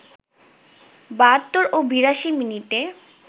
৭২ ও ৮২ মিনিটে